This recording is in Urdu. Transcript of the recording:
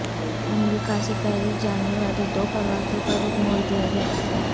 امریکہ سے پیرس جانے والی دو پروازوں کا رخ موڑ دیا گیا